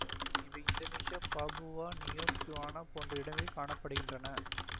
இவை Indonesia Papua New Guinea போன்ற இடங்களில் காண படுகின்றன